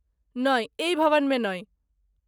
नहि, एहि भवनमे नहि।